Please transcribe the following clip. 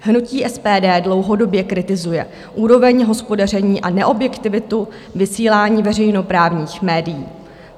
Hnutí SPD dlouhodobě kritizuje úroveň hospodaření a neobjektivitu vysílání veřejnoprávních médií.